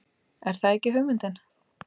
Er það ekki hugmyndin?